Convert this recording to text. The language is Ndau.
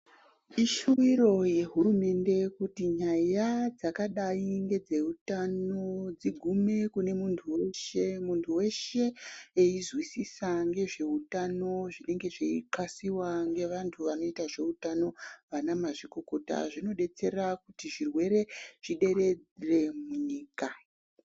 Ishuwiro wehurumende kuti nyaya dzakadai nedzehutano dzigume kune muntu weshe . Muntu weshe einzwisisa ngezvehutano zvinenge zveixasiwa ngevantu vanoita zvehutano ana mazvikokota zvinodetsera kuti zvirwere zviderere munyika.